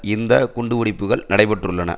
இந்த குண்டு வெடிப்புக்கள் நடைபெற்றுள்ளன